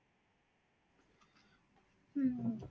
உம்